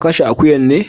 Ka Kashe akuyan ne?